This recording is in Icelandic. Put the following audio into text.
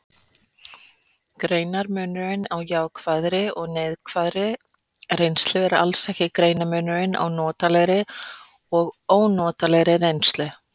Greinarmunurinn á jákvæðri og neikvæðri reynslu er alls ekki greinarmunurinn á notalegri og ónotalegri reynslu.